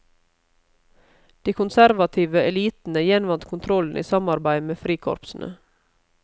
De konservative elitene gjenvant kontrollen i samarbeid med frikorpsene.